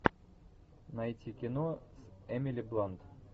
найти кино с эмили блант